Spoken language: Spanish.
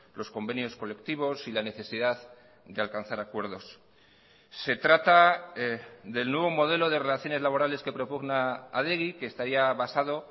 los convenios colectivos y la necesidad de alcanzar acuerdos se trata del nuevo modelo de relaciones laborales que propugna adegi que estaría basado